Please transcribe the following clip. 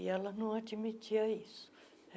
E ela não admitia isso.